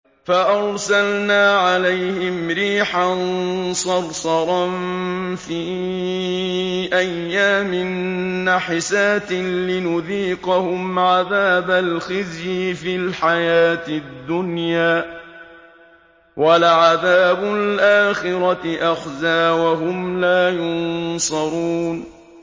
فَأَرْسَلْنَا عَلَيْهِمْ رِيحًا صَرْصَرًا فِي أَيَّامٍ نَّحِسَاتٍ لِّنُذِيقَهُمْ عَذَابَ الْخِزْيِ فِي الْحَيَاةِ الدُّنْيَا ۖ وَلَعَذَابُ الْآخِرَةِ أَخْزَىٰ ۖ وَهُمْ لَا يُنصَرُونَ